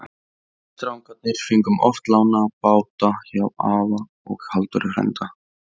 Við strákarnir fengum oft lánaða báta hjá afa og Halldóri frænda.